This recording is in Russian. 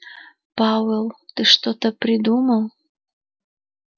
пауэлл ты что-то придумал